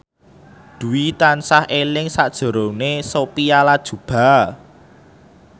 Dwi tansah eling sakjroning Sophia Latjuba